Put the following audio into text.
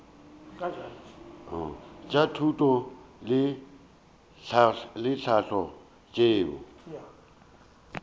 tša thuto le tlhahlo tšeo